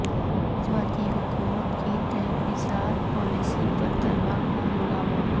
سماج وادی حکومت کی تحفظات پالیسی پر طلبا کا ہنگامہ